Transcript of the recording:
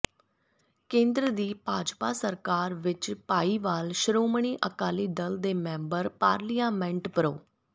ਕੇਂਦਰ ਦੀ ਭਾਜਪਾ ਸਰਕਾਰ ਵਿਚ ਭਾਈਵਾਲ ਸ਼੍ੋਮਣੀ ਅਕਾਲੀ ਦਲ ਦੇ ਮੈਂਬਰ ਪਾਰਲੀਮੈਂਟ ਪੋ੍